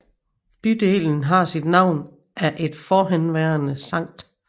Bydelen har sit navn af et forhenværende Skt